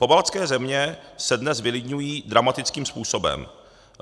Pobaltské země se dnes vylidňují dramatickým způsobem.